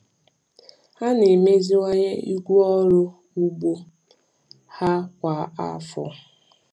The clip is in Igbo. Ha na-emeziwanye igwe ọrụ ugbo ha kwa afọ.